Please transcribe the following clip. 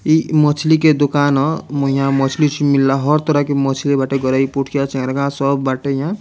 ई मछली के दुकान ह इहाँ मछली-उछली मिलउ ह तोरा के मछली बाटे गरइ पुटिया चहेरगा सब बाटे यहाँ।